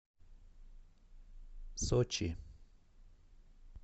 сочи